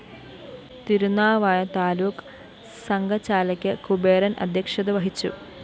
തിരുന്നാവായ താലൂക്ക് സംഘചാലക് കുബേരന്‍ അദ്ധ്യക്ഷത വഹിച്ചു